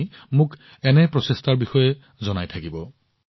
আপোনালোকে এনে ধৰণৰ প্ৰচেষ্টাৰ বিষয়ে মোলৈ লিখি থাকিব